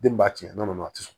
Den b'a tiɲɛ nɔnɔ a ti sɔn